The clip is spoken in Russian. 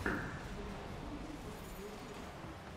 у тебя найдется топовые песни